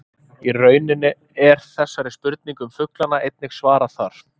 Í rauninni er þessari spurningu um fuglana einnig svarað þar.